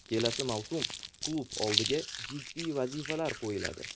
Kelasi mavsum klub oldiga jiddiy vazifalar qo‘yiladi.